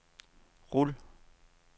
rul